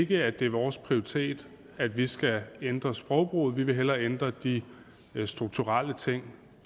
det er ikke vores prioritet at vi skal ændre sprogbrugen vi vil hellere ændre de strukturelle ting